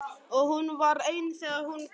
Og hún var ein þegar hún kom.